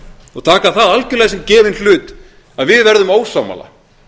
og taka það algjörlega sem gefinn hlut að við verðum ósammála